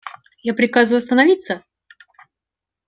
я приказываю остановиться